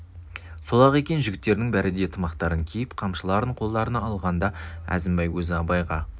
сол-ақ екен жігіттердің бәрі де тымақтарын киіп қамшыларын қолдарына алғанда әзімбай өзі абайға